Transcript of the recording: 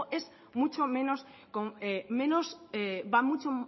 va mucho